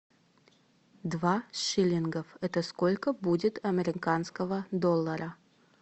два шиллингов это сколько будет американского доллара